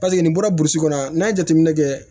Paseke nin bɔra burusi kɔnɔ n'a ye jateminɛ kɛ